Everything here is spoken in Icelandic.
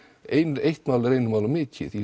eitt mál er einu máli of mikið í